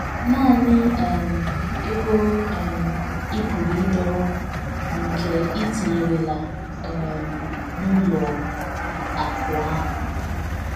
Nanị um ego um ị pụrụ ịdọrọ bụ nke i tinyerela um n’ụlọ akụ̀ ahụ.